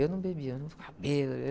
Eu não bebia, eu não ficava bêbado.